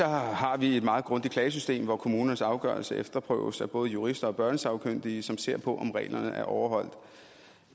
har vi et meget grundigt klagesystem hvor kommunernes afgørelse efterprøves af både jurister og børnesagkyndige som ser på om reglerne er overholdt